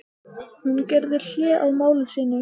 Hún gerði hlé á máli sínu.